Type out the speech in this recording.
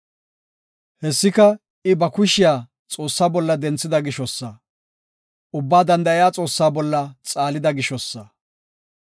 Hessika I ba kushiya Xoossaa bolla denthida gishosa; Ubbaa Danda7iya Xoossaa bolla xaalida gishosa.